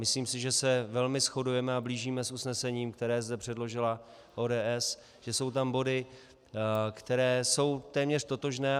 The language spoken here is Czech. Myslím si, že se velmi shodujeme a blížíme s usnesením, které zde předložila ODS, že jsou tam body, které jsou téměř totožné.